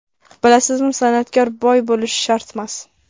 Bilasizmi, san’atkor boy bo‘lishi shartmas.